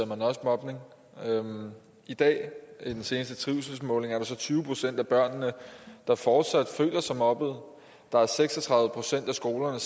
man også mobning i dag i den seneste trivselsmåling er der så tyve procent af børnene der fortsat føler sig mobbet der er seks og tredive procent af skolerne